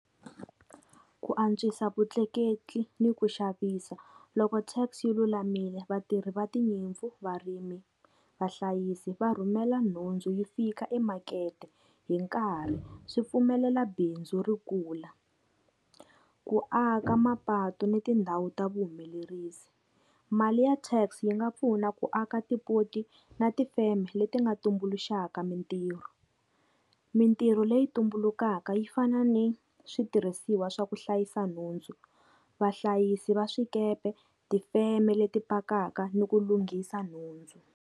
Ku antswisa vutleketli ni ku xavisa. Loko tax yi lulamile vatirhi va tinyimpfu, varimi, vahlayisi va rhumela nhundzu yi fika emakete hi nkarhi swi pfumelela bindzu ri kula. Ku aka mapatu ni tindhawu ta vuhumelerisi, mali ya tax yi nga pfuna ku aka tipoti na tifeme leti nga tumbuluxaka mintirho. Mintirho leyi tumbulukaka yi fana ni switirhisiwa swa ku hlayisa nhundzu, vahlayisi va swikepe, tifeme leti pakaka ni ku lunghisa nhundzu.